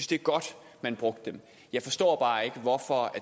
det er godt at man brugte dem jeg forstår bare ikke hvorfor